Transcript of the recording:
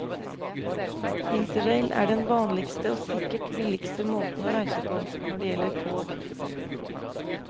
Interrail er den vanligste og sikkert billigste måten å reise på, når det gjelder tog.